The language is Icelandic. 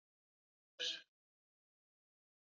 Mörður